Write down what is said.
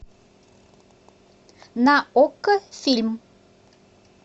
на окко фильм